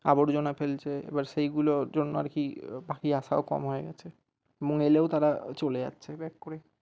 আবর্জনা ফেলছে এবার সেইগুলোর জন্য আর কি পাখি আসাও কম হয়ে গেছে মানে এলেও তারা চলে যাচ্ছে।